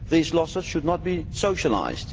These losses should not be socialised.